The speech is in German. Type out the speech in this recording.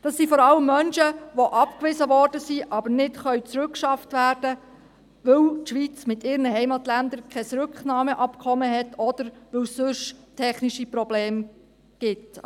Das sind vor allem Menschen, die abgewiesen worden sind, aber nicht zurückgeschafft werden können, weil die Schweiz mit ihren Heimatländern kein Rücknahmeabkommen hat oder weil es sonst technische Probleme gibt.